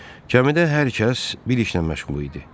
Kəmidə hər kəs bir işlə məşğul idi.